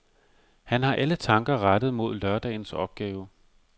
Han har alle tanker rettet mod lørdagens opgave.